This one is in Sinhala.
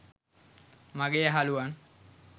මගේ යහලුවන්